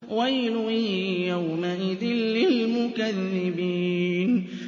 وَيْلٌ يَوْمَئِذٍ لِّلْمُكَذِّبِينَ